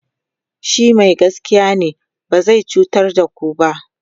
shi Mai gaskiya ne ba zai cutar da ku ba